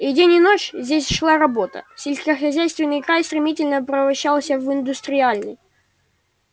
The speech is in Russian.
и день и ночь здесь шла работа сельскохозяйственный край стремительно превращался в индустриальный